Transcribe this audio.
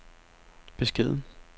beskeden